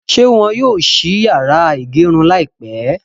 Ṣé wọ́n yóò ṣí yàrá ìgẹrun láìpẹ́?